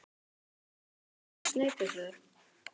Þóra Kristín: Sneypuför?